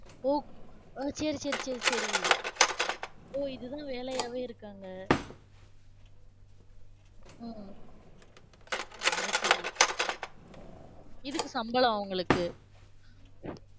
o~ அஹ் சரி, சரி, சரி, சரி. ஓ இதுதான் வேலையாவே இருக்காங்க. உம் அது சரி உம் இதுக்கு சம்பளம் அவங்களுக்கு